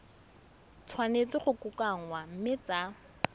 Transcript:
tshwanetse go kokoanngwa mme tsa